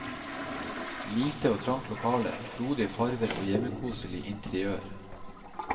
Lite og trangt lokale, frodige farver og hjemmekoselig interiør.